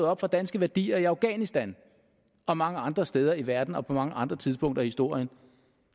op for danske værdier i afghanistan og mange andre steder i verden og på mange andre tidspunkter i historien